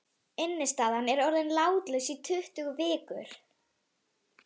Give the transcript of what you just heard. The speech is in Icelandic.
Innistaðan er orðin látlaus í tuttugu vikur.